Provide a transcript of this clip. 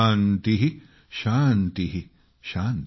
शान्ति शान्ति ।।